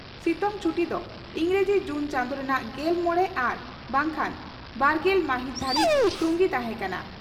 ᱥᱤᱛᱩᱝ ᱪᱷᱴᱤ ᱫᱚ ᱤᱸᱜᱽᱨᱟᱹᱡᱤ ᱡᱩᱱ ᱪᱟᱸᱫᱚ ᱨᱮᱱᱟᱜ ᱜᱮᱞᱢᱚᱲᱮ ᱟᱨ ᱵᱟᱝᱠᱷᱟᱱ ᱵᱟᱨᱜᱮᱞ ᱢᱟᱹᱦᱤᱛ ᱫᱷᱟᱹᱨᱤᱡ ᱛᱩᱝᱜᱤ ᱛᱟᱦᱮᱸ ᱠᱟᱱᱟ ᱾